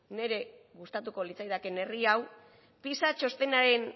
niri gustatuko litzaidakeen herri honek